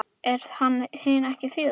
Er þetta hin síðari